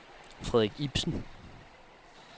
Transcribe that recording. Frederik Ipsen